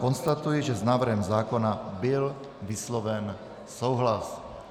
Konstatuji, že s návrhem zákona byl vysloven souhlas.